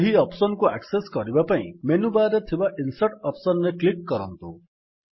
ଏହି ଅପ୍ସନ୍ କୁ ଆକ୍ସେସ୍ କରିବା ପାଇଁ ମେନୁବାର୍ ରେ ଥିବା ଇନସର୍ଟ ଅପ୍ସନ୍ ରେ କ୍ଲିକ୍ କରନ୍ତୁ